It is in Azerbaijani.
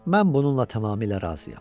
Mən bununla tamamilə razıyam.